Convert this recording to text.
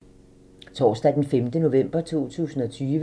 Torsdag d. 5. november 2020